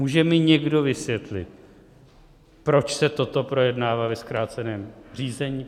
Může mi někdo vysvětlit, proč se toto projednává ve zkráceném řízení?